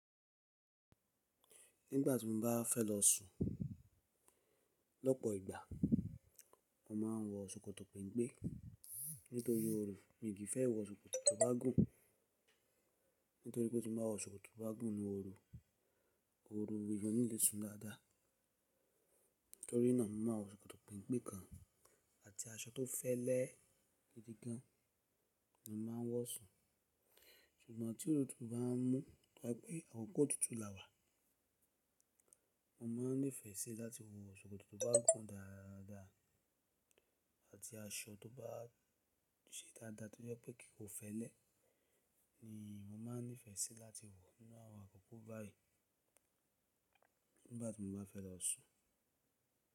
Nígbà tí mo bá fẹ́ lọ sùn lọ́pọ̀ ìgbà, mo máa ń wọ ṣòkòtò pempe nítorí ooru. Mi kì í fẹ́ wọ ṣòkòtò tó bá gùn nítorí tin bá wọ ṣòkòtò tó bá gùn nu ooru, ooru lè jọ nílé sùn dáadáa. Nítorínà mo máa wọ ṣòkòtò pempe kan àti aṣọ tó fẹ́lẹ́ gidi gan ni mo máa ń wọ sùn. Ṣùgbọ́n tí ootutu bá mú pé àwọn akòkó otútù la wà, mo máa nífẹ̀ẹ́ sí láti wọ ṣòkòtò tó bá gùn dáadáa àti aṣọ tó bá se dáadáa torí pé kì í fẹ́lẹ́ ni mo máa nífẹ̀ẹ́ sí láti wọ nínú àwọn àkókò báyìí nígbà tí mo bá fẹ́ lọ sùn.